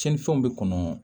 Cɛnnifɛnw bɛ kɔnɔ